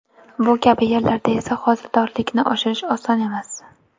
Bu kabi yerlarda esa hosildorlikni oshirish oson emas.